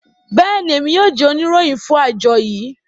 bẹẹni, Emi yoo jẹ onirohin fun ajo yii